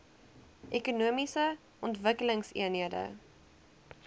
ekonomiese ontwikkelingseenhede eoes